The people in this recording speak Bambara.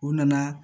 U nana